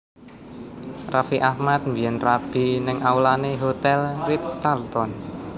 Raffi Ahmad biyen rabi nang aulane Hotel Ritz Carlton